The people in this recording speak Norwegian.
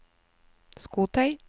skotøy